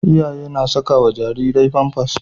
Iyaye na sakawa Jariri pampas